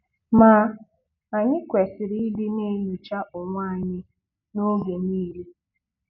Ma, anyị kwesịrị ịdị na-enyocha onwe anyị n'oge niile!